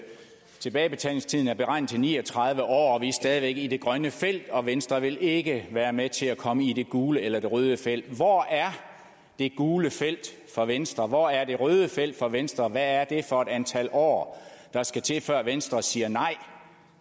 tilbagebetalingstiden er beregnet til ni og tredive år og vi er stadig væk i det grønne felt og venstre vil ikke være med til at komme i det gule eller det røde felt hvor er det gule felt for venstre hvor er det røde felt for venstre hvad er det for et antal år der skal til før venstre siger nej